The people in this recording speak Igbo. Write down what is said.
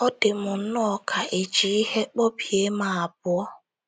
Ọ dị m nnọọ ka è ji ihe kwọbie m abụọ.